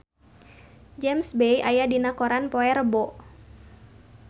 James Bay aya dina koran poe Rebo